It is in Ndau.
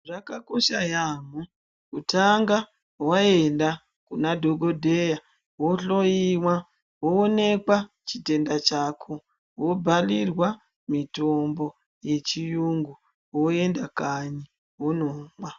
Zvakakosha yaamho kutanga waenda kuna dhokodheya wohloyiwa woonekwa chitenda chako wobhalirwa mitombo yechiyungu woenda kanyi wonomwa.